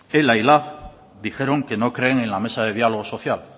ela y lab dijeron que no creen en la mesa del diálogo social